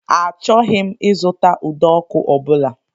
Achọghị m ịzụta ụdọọkụ ọ bụla.